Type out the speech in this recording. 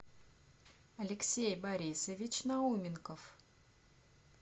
алексей борисович науменков